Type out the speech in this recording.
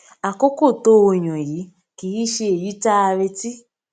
àkókò tó o yàn yìí kì í ṣe èyí tá a retí